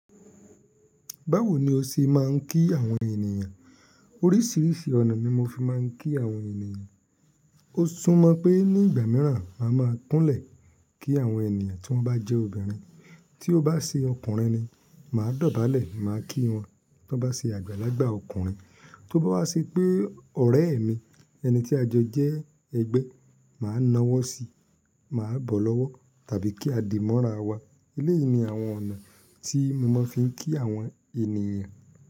Báwo ni o ṣe máa ń kí àwọn ènìyàn Oríṣìíríṣìí ọ̀nà ni mo fi máa ń kí àwọn ènìyàn. O sún mọ pé ní ìgbà mìíràn, màá ma kúnlẹ̀ kí àwọn ènìyàn tí wọ́n bá jẹ́ obìnrin, tí ó bá ṣe ọkùnrin ni, màá dọ̀bálẹ̀ máa kí wọn. Bí wọ́n bá ṣe àgbàlagbà ọkùnrin, tí ó bá ṣe pé ọ̀rẹ́ mi, ẹni tí a jọ jẹ́ ẹgbẹ́, màá nawọ́ síi, màá bọ̀ lọ́wọ́ tàbí kí a dì mọ́ra wa. Eléyìí ni àwọn ọ̀nà tí mo máa ń fi kí àwọn ènìyàn.